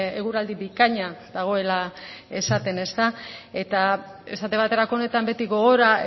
eguraldi bikaina dagoela esaten ezta eta esate baterako honetan beti gogora